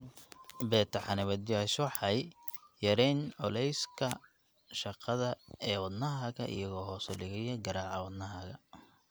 Beta xanibaadayashawaxay yareeyaan culayska shaqada ee wadnahaaga iyagoo hoos u dhigaya garaaca wadnahaaga.